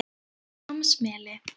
Hvammsmeli